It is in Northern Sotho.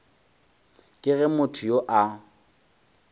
ke ge motho yo a